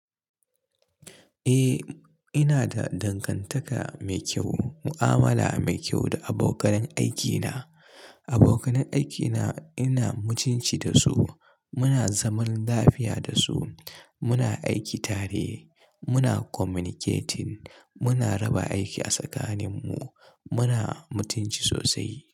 Eh, ina da dangantaka mai kyau, mu'amala mai kyau da abokanan aikina. Abokanan aikina ina mutunci da su, muna zaman lafiya da su, muna aiki tare, muna communicating, muna raba aiki a tsakaninmu, muna mutunci sosai.